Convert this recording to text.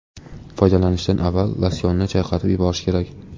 Foydalanishdan avval losyonni chayqatib yuborish kerak.